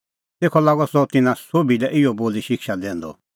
तेखअ लागअ सह तिन्नां सोभी लै इहअ बोली शिक्षा दैंदअ